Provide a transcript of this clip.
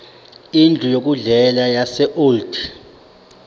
indlu yokudlela yaseold